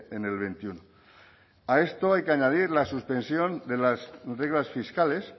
en el veintiuno a esto hay que añadir la suspensión de las reglas fiscales